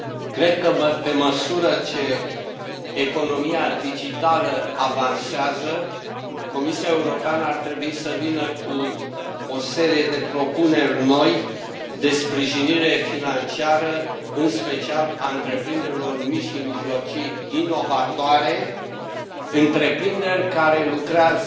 Cred că, pe măsură ce economia digitală avansează, Comisia Europeană ar trebui să vină cu o serie de propuneri noi de sprijinire financiară, în special a întreprinderilor mici și mijlocii inovatoare, întreprinderi care lucrează